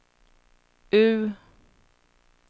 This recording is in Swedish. U